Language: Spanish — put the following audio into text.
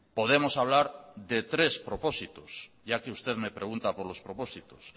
podemos hablar de tres propósitos ya que usted me pregunta por los propósitos